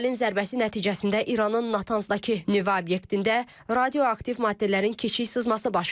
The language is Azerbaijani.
İsrailin zərbəsi nəticəsində İranın Natanzdakı nüvə obyektində radioaktiv maddələrin kiçik sızması baş verib.